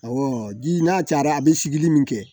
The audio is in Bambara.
ji n'a cayara a bɛ sigili min kɛ